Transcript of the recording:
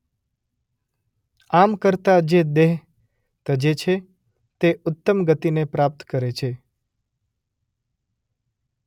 આમ કરતાં જે દેહ તજે છે તે ઉત્તમ ગતિને પ્રાપ્ત કરે છે.